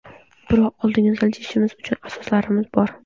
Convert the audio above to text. Biroq oldinga siljishimiz uchun asoslarimiz bor.